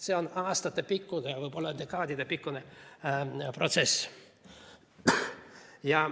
See on aastatepikkune, võib-olla dekaadidepikkune protsess.